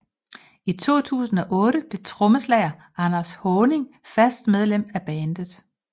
I 2008 blev trommeslager Anders Haaning fast medlem af bandet